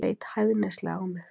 Leit hæðnislega á mig.